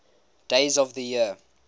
days of the year